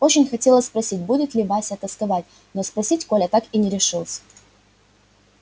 очень хотелось спросить будет ли вася тосковать но спросить коля так и не решился